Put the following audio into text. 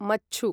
मच्छु